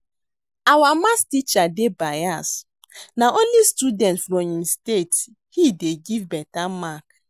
Our math teacher dey bias na only students from im state he dey give beta mark